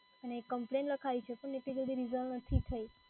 અને કમ્પ્લેન લખાવી છે પણ એટલી જલ્દી resolve નથી થઈ.